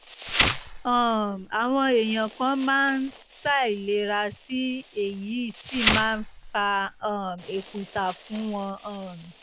um àwọn èèyàn kan máa ń ṣàìlera sí i èyí sì máa ń fa um èkùsá fún wọn um